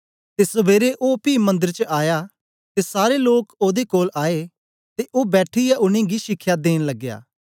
ते सबेरे ओ पी मंदर च आया ते सारे लोक ओदे कोल आए ते ओ बैठीयै उनेंगी शिखया देंन लगया